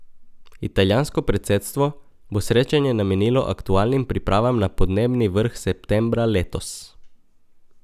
Italijansko predsedstvo bo srečanje namenilo aktualnim pripravam na podnebni vrh septembra letos.